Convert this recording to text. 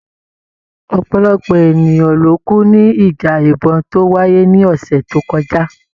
Ọ̀pọ̀lọpọ̀ ènìyàn ló kú ní ìjà ìbọ̀n tó wáyé ní ọ̀sẹ̀ tó kọjá.